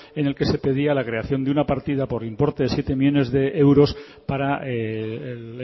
en el que se pedía la creación de una partida por importe de siete millónes de euros para el